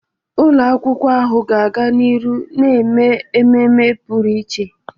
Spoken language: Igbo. Ụlọ akwụkwọ ahụ ga-aga n'ihu na-eme ememe pụrụ iche.